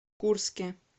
курске